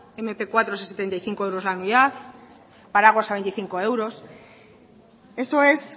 mp cuatros a setenta y cinco euros la unidad paraguas a veinticinco euros eso es